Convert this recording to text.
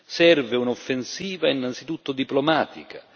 Serve un'offensiva innanzitutto diplomatica.